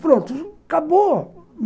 Pronto, acabou.